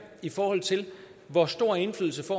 i forhold til hvor stor indflydelse